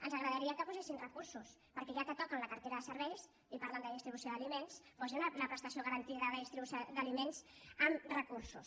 ens agradaria que hi posessin recursos perquè ja que toquen la cartera de serveis i parlen de distribució d’aliments posi la prestació garantida de distribució d’aliments amb recursos